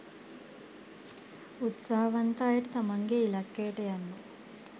උත්සාහවන්ත අයට තමන්ගේ ඉලක්කයට යන්න